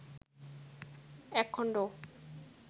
এক খন্ড